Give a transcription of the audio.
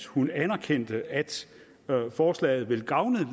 hun anerkendte at forslaget ville gavne